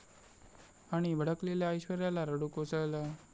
...आणि भडकलेल्या ऐश्वर्याला रडू कोसळलं